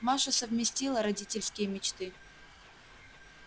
маша совместила родительские мечты